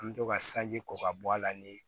An bɛ to ka sanji ko ka bɔ a la ni